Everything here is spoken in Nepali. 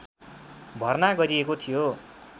भर्ना गरिएको थियो